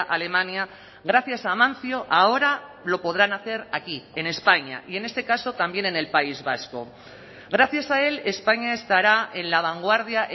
alemania gracias a amancio ahora lo podrán hacer aquí en españa y en este caso también en el país vasco gracias a él españa estará en la vanguardia